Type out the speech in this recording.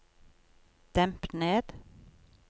demp ned